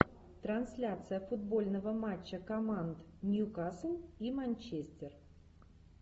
трансляция футбольного матча команд ньюкасл и манчестер